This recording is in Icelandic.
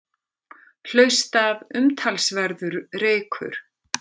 Hlaust af umtalsverður reykur